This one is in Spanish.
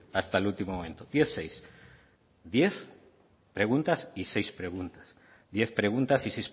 hasta el último momento diez barra seis diez preguntas y seis preguntas